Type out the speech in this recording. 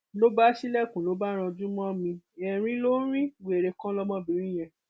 ló bá ṣílẹkùn ló bá ranjú mọ mi erin ló ń rin wèrè kan lọmọbìnrin yẹn